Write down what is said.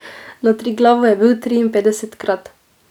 Na Triglavu je bil triinpetdesetkrat.